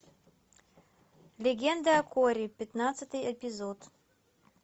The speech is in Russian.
легенда о корре пятнадцатый эпизод